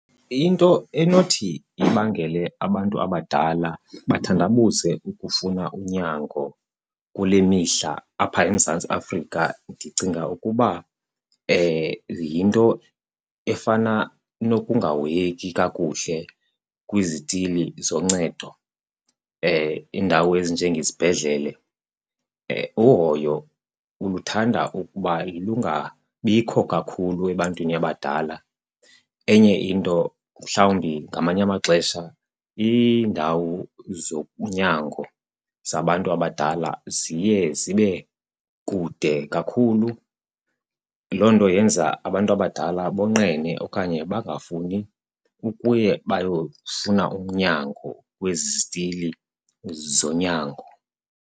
Into enothi ibangele abantu abadala bathandabuze ukufuna unyango kule mihla apha eMzantsi Afrika ndicinga ukuba yinto efana nokungahoyeki kakuhle kwizitili zoncedo, iindawo ezinjengezibhedlele. Uhoyo luthanda ukuba lungabikho kakhulu ebantwini abadala. Enye into mhlawumbi ngamanye amaxesha iindawo zonyango zabantu abadala ziye zibe kude kakhulu, loo nto yenza abantu abadala bonqene okanye bangafuni ukuye bayofuna unyango kwezi zitili zonyango.